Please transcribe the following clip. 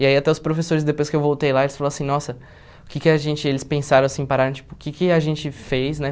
E aí até os professores, depois que eu voltei lá, eles falaram assim, nossa, o que que a gente, eles pensaram assim, pararam, tipo, o que que a gente fez, né?